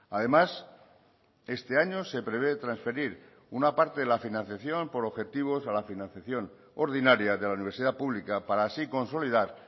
además este año se prevé transferir una parte de la financiación por objetivos a la financiación ordinaria de la universidad pública para así consolidar